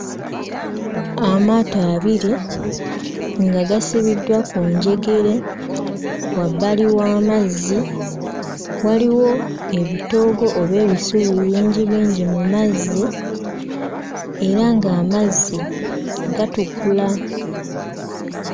Amaato abiri nga gasibiddwa ku njegere. Wabbali w'amazzi waliwo ebitoogo oba ebisubi bingibingi mu mazzi era ng'amazzi gatukula.